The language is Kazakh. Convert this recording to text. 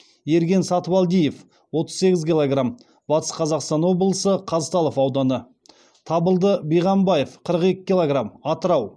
ерген сатыбалдиев отыз сегіз килограмм батыс қазақстан облысы қазталов ауданы табылды биғамбаев қырық екі килограмм атырау